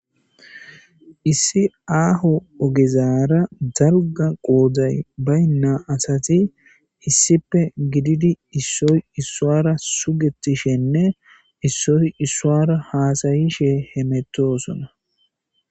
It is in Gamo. Issi aho ogezaara darga qoday baynna asati issippe gididi issoy issuara sugetishenne issoy issuara haasayishe hemetosona